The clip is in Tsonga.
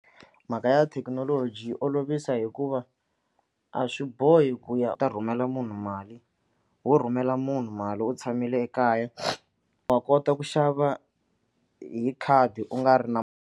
Mhaka ya thekinoloji yi olovisa hikuva a swi bohi ku ya ta rhumela munhu mali wo rhumela munhu mali u tshamile ekaya wa kota ku xava hi khadi u nga ri na.